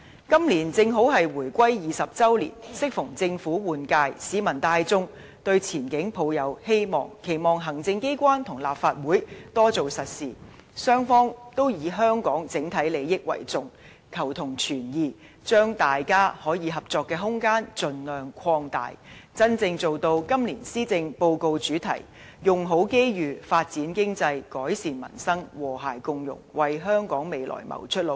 今年正好是回歸20周年，適逢政府換屆，市民大眾都對前景抱有希望，期望行政機關和立法會多做實事，雙方以香港整體利益為重，求同存異，將大家可以合作的空間盡量擴大，真正做到今年施政報告的主題"用好機遇發展經濟改善民生和諧共融"，為香港未來謀出路。